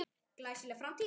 Glæsileg framtíð?